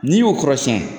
N'i y'o kɔrɔsiyɛn